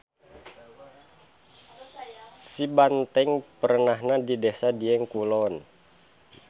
Sibanteng perenahna di Desa Dieng Kulon.